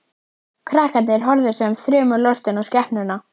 Krakkarnir horfðu sem þrumulostin á skepnuna.